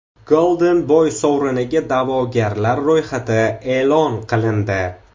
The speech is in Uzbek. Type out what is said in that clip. Golden Boy sovriniga da’vogarlar ro‘yxati e’lon qilindi.